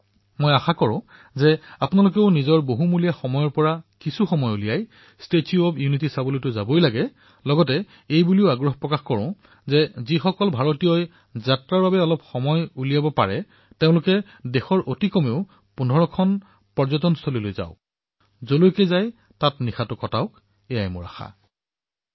মোৰ অনুৰোধ এয়াই যে আপোনালোকেও নিজৰ বহুমূলীয়া সময় খৰচ কৰি ষ্টেচু অব্ ইউনিটী দৰ্শন কৰিবলৈ আহক লগতে মোৰ এয়াও আগ্ৰহ যে আপোনালোকে ভাৰতৰ কমেও ১৫টা পৰ্যটনৰ স্থানলৈ পৰিয়ালৰ সৈতে নিশাটো কটাবলৈ সেই স্থানসমূহলৈ যাওক